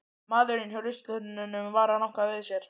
Maðurinn hjá ruslatunnunum var að ranka við sér.